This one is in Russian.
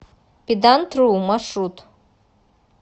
педантру маршрут